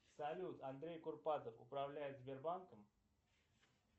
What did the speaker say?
салют андрей курпатов управляет сбербанком